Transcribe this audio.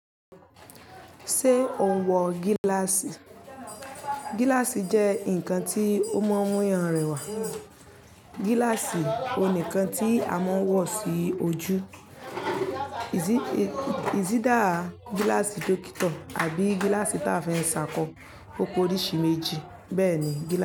Ṣé o ń wọ gíláàsì? Gíláàsì jẹ́ ǹkan tí ó mú ọmọyàn rẹwà. Gíláàsì oníkan tí a máa ń wọ sí ojú, is either, gíláàsì dókítà àbí gíláàsì tí a fi ń ṣàkọ ope orishi méjì. Bẹ́ẹ̀ ni gíláàsì.